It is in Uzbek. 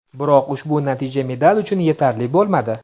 Biroq ushbu natija medal uchun yetarli bo‘lmadi.